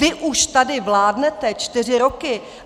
Vy už tady vládnete čtyři roky.